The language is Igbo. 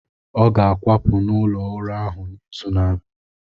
Ọ ga-akwapụ n’ụlọ ụrọ ahu n’izu na-abịa.